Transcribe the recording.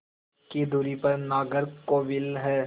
की दूरी पर नागरकोविल है